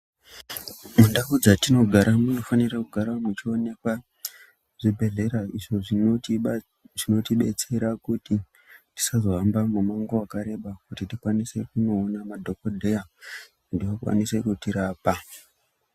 Mundau dzatinogara munofanira kugara muchi onekwa zvi bhedhlera izvo zvinoti betsera kuti tisazo hamba mi mango wakareba kuti tikwanise kuno ona madhokodheya kuti vakwanise kuti rapa.